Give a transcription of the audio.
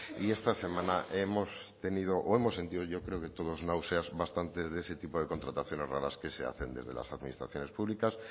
y esta semana hemos tenido o hemos sentido yo creo que todos náuseas bastante de ese tipo de contrataciones raras que se hacen desde las administraciones públicas